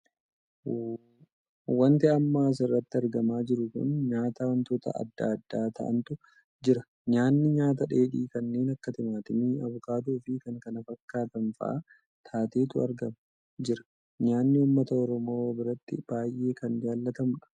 Wanti amma as irratti argamaa jiru kun nyaata wantoota addaa addaa taa'antu jira. nyaanni nyaata dheedhii kannee akka timaatimii, abukaadoo fi kan kanaa fakkaatanfaa taateetu argama jira. nyaanni uummata Oromoo biratti baay'ee kan jaallatamuudha.